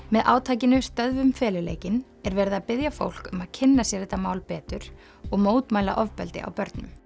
með átakinu stöðvum feluleikinn er verið að biðja fólk um að kynna sér þetta mál betur og mótmæla ofbeldi á börnum